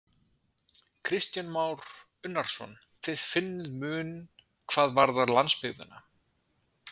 Kristján Már Unnarsson: Þið finnið mun hvað varðar landsbyggðina?